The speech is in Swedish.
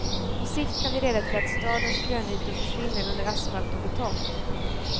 På sikt kan det leda till att stadens grönytor försvinner under asfalt och betong.